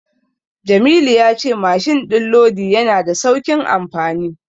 Jamilu ya ce mashin din lodi yana da saukin amfani.